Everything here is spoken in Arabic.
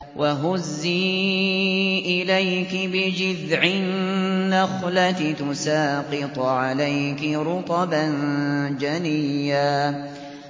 وَهُزِّي إِلَيْكِ بِجِذْعِ النَّخْلَةِ تُسَاقِطْ عَلَيْكِ رُطَبًا جَنِيًّا